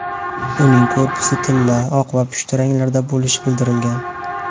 Uning korpusi tilla, oq va pushti ranglarda bo‘lishi bildirilgan.